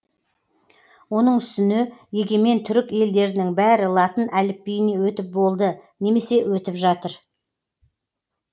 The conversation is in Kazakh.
оның үстіне егемен түрік елдерінің бәрі латын әліпбиіне өтіп болды немесе өтіп жатыр